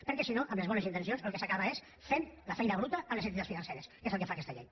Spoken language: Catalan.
perquè si no amb les bones intencions el que s’acaba és fent la feina bruta a les entitats financeres que és el que fa aquesta llei